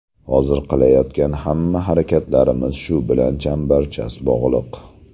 Hozir qilayotgan hamma harakatlarimiz shu bilan chambarchas bog‘liq.